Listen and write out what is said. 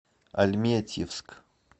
альметьевск